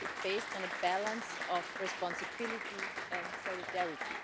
it, based on a balance of responsibility and solidarity.